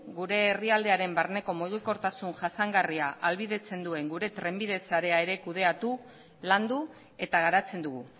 gure herrialdearen barneko mugikortasun jasangarria ahalbidetze duen gure trenbide sarea ere kudeatu landu eta garatzen dugu